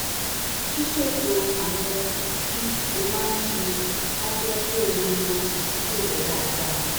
ṣíṣètò àwọn ohun tí o máa ń ṣe á jẹ́ kó o lo àkókò rẹ dáadáa